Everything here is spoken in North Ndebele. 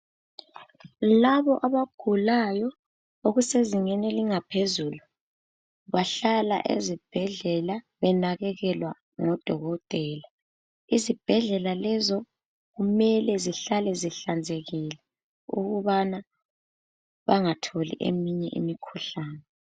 Labo abagulayo okusezingeni elingaphezulu bahlala ezibhedlela benakekelwa ngodokotela izibhedlela lezo kumele zihlale zihlanzekile ukwenzela ukubana bengathola eminye imikhuhlane